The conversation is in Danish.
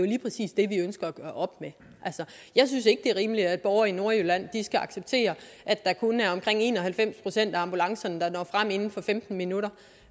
lige præcis det vi ønsker at gøre op med jeg synes ikke det er rimeligt at borgere i nordjylland skal acceptere at der kun er omkring en og halvfems procent af ambulancerne der når frem inden for femten minutter